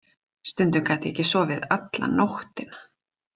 Stundum gat ég ekki sofið alla nóttina.